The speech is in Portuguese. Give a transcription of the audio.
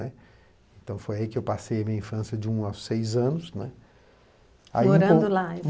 Né. Então, foi aí que eu passei a minha infância de um a seis anos, né. Morando lá